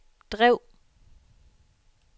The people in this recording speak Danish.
drev